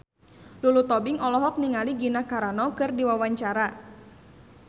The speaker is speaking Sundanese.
Lulu Tobing olohok ningali Gina Carano keur diwawancara